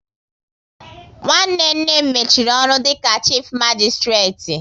Nwanne nne m mechiri ọrụ dịka chifu magisitireti